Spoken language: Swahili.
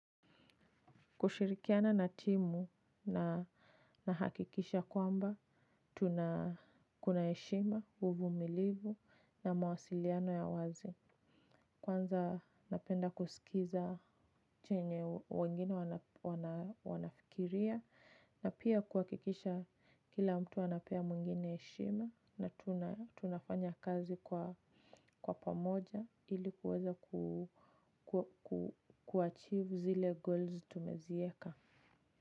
Kushirikiana na timu na hakikisha kwamba tuna kuna heshima, uvumilivu na mawasiliano ya wazi. Kwanza napenda kusikiza chenye wengine wanafikiria na pia kuakikisha kila mtu anapea mwingine heshima na tunafanya kazi kwa pamoja ilikuweza kuachivu zile goals tumezieka.